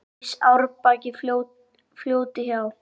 Rís árbakki fljóti hjá.